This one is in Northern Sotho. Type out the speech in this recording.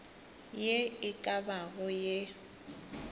ye e ka bago ye